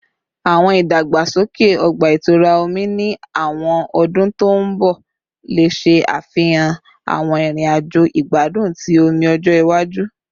Awọn idagbasoke ọgba-itura omi ni awọn ọdun to nbọ le ṣafihan awọn irin-ajo igbadun ti omi-ọjọ iwaju